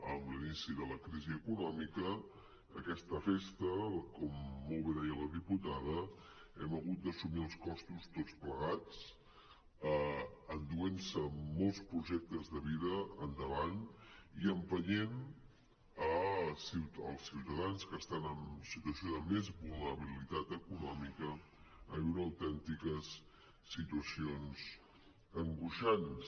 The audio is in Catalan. amb l’inici de la crisi econòmica d’aquesta festa com molt bé deia la diputada n’hem hagut d’assumir els costos tots plegats s’ha endut molts projectes de vida per davant i ha empès els ciutadans que estan en situació de més vulnerabilitat econòmica a viure autèntiques situacions angoixants